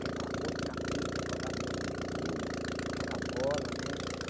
Quer ir para a rua, empinar pipa, jogar bolinha de gude, jogar bola, né?